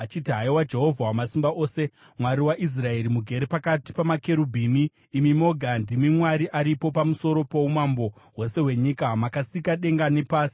“Haiwa Jehovha Wamasimba Ose, Mwari waIsraeri, mugere pakati pamakerubhimi, imi moga ndimi Mwari aripo pamusoro poumambo hwose hwenyika. Makasika denga nepasi.